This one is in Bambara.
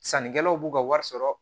Sannikɛlaw b'u ka wari sɔrɔ